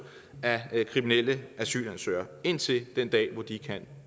af kriminelle asylansøgere indtil den dag hvor de kan